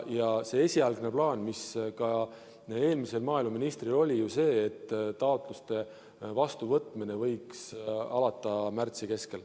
Ja see esialgne plaan, mis ka eelmisel maaeluministril oli, oli ju see, et taotluste vastuvõtmine võiks alata märtsi keskel.